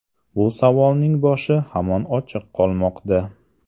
Bu savolning boshi hamon ochiq qolmoqda.